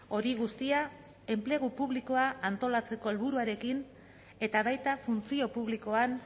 hori guztia enplegu publikoa antolatzeko helburuarekin eta baita funtzio publikoan